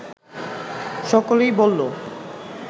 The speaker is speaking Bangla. সকলেই বলল